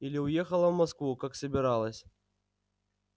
или уехала в москву как собиралась